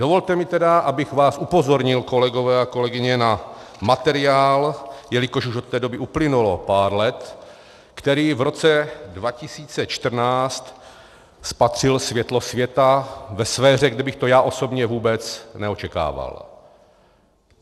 Dovolte mi tedy, abych vás upozornil, kolegové a kolegyně, na materiál, jelikož už od té doby uplynulo pár let, který v roce 2014 spatřil světlo světa ve sféře, kde bych to já osobně vůbec neočekával.